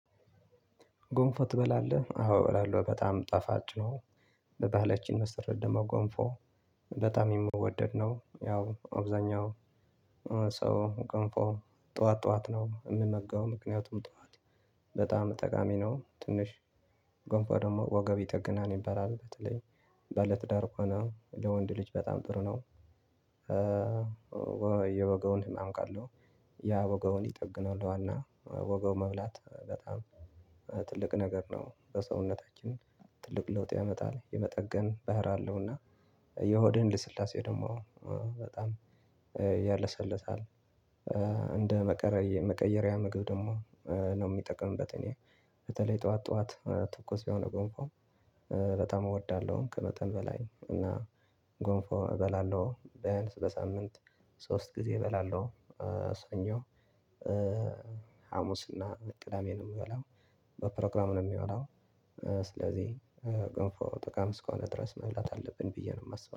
ጎንፎ ትበላለህ? አዎ እበላለሁ በጣም ጣፋጭ ነው። በባህለችን መስረት ደግሞ ጎንፎ በጣም የምወደድ ነው። ያው አብዛኛው ሰው ገንፎ ጠዋት ጠዋት ነው የምመገበው ምክንያቱም ጠዋት በጣም ጠቃሚ ነው። ትንሽ ጎንፎ ደግሞ ወገብ ይጠግናል ይበላል በተለይ ባለትዳር ከሆነ ለወንድ ልጅ በጣም ጥሩ ነው። ወይ የወገቡን ህመም ካለሁ ያ ወገቡን ይጠግናል ዋና ወገቡ መብላት በጣም ትልቅ ነገር ነው ለሰውነታችን ትልቅ ለውጥ ያመጣል። የመጠገን ባህሪ አለውና የሆድህን ልስላሴ ደግሞ በጣም ያለሰልሳል። እንደ መቀየሪያ ምግብ ደግሞ ነው ምጠቀምበት እኔ በተለይ ጠዋት ጠዋት ትኩስ የሆነ ጎንፎ በጣም እወዳለሁ። ከመጠን በላይ እና ጎንፎ እበላለሁ ቢያንስ በሳምንት ሶስት ጊዜ እበላለሁ። ሰኞ ሀሙስ እና ቅዳሜ ምበላው በፕሮግራም ነው ምበላው። ስለዚህ ገንፎ ጠቃሚ እስከሆነ ድረስ መብላት አለብን ብዬ ነው ማስበው